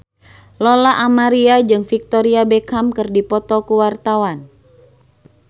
Lola Amaria jeung Victoria Beckham keur dipoto ku wartawan